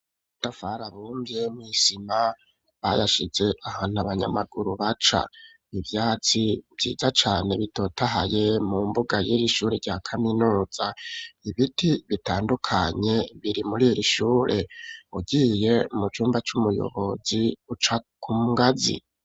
Budafara bumvye mw'isima bayashize ahantu abanyamaguru baca , ivyatsi vyiza cane bitotahaye mu mbuga y'iri ishure rya kaminoza ibiti bitandukanye biri muri iri ishure ugiye mu cumba c'umuyobozi ucakumwazi.